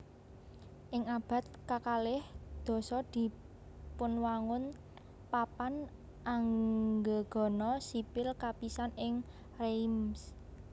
Ing abad kakalih dasa dipunwangun papan anggegana sipil kapisan ing Reims